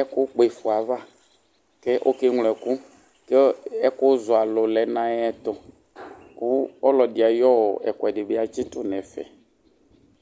ɛkʋ kpɔ ifɔ yɛ ava kʋ ɔkeŋlo ɛkʋ kʋ ɛkʋzɔalʋ yɛ lɛnʋ ayʋ ɛtʋ kʋ ɔlɔdɩ ayʋ ɛkʋɛdi atsitʋ nʋ ɛfɛ